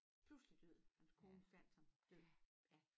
Pludselig død hans kone fandt ham død ja